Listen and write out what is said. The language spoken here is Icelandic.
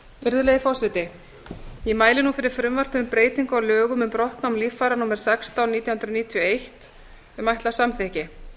virðulegi forseti ég mæli nú fyrir frumvarp til laga um breytingu á lögum um brottnám líffæra númer sextán nítján hundruð níutíu og eitt um ætlað samþykki